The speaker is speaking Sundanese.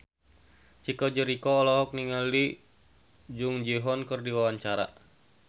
Chico Jericho olohok ningali Jung Ji Hoon keur diwawancara